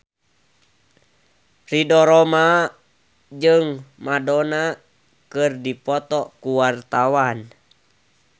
Ridho Roma jeung Madonna keur dipoto ku wartawan